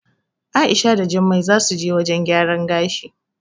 A'isha da Jummai zasu je wajen gyaran gashi.